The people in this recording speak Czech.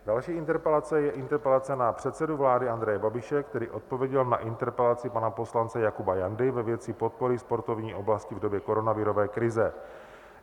Další interpelace je interpelace na předsedu vlády Andreje Babiše, který odpověděl na interpelaci pana poslance Jakuba Jandy ve věci podpory sportovní oblasti v době koronavirové krize.